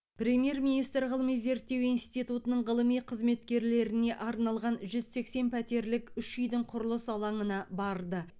премьер министр ғылыми зерттеу институтының ғылыми қызметкерлеріне арналған жүз сексен пәтерлік үш үйдің құрылыс алаңына барды